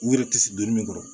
U yɛrɛ ti se don min kɔrɔ